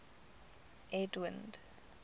edwind